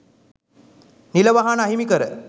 නිල වාහන අහිමි කර